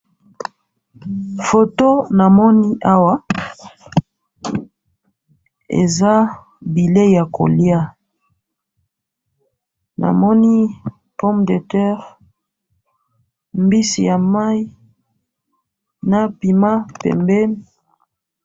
photo namoni awa eza bilye ya kolya, namoni pomme de terre, mbisi ya mayi, na pima pembeni